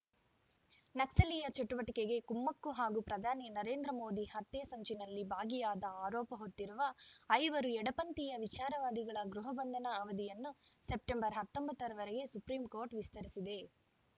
ನಕ್ಸಲೀಯ ಚಟುವಟಿಕೆಗೆ ಕುಮ್ಮಕ್ಕು ಹಾಗೂ ಪ್ರಧಾನಿ ನರೇಂದ್ರ ಮೋದಿ ಹತ್ಯೆ ಸಂಚಿನಲ್ಲಿ ಭಾಗಿಯಾದ ಆರೋಪ ಹೊತ್ತಿರುವ ಐವರು ಎಡಪಂಥೀಯ ವಿಚಾರವಾದಿಗಳ ಗೃಹಬಂಧನ ಅವಧಿಯನ್ನು ಸೆಪ್ಟೆಂಬರ್‌ ಹತ್ತೊಂಬತ್ತ ರವರೆಗೆ ಸುಪ್ರೀಂ ಕೋರ್ಟ್‌ ವಿಸ್ತರಿಸಿದೆ